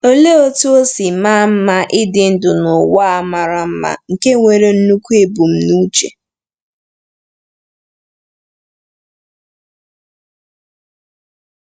Olee otú o si maa mma ịdị ndụ n’ụwa a mara mma nke nwere nnukwu ebumnuche!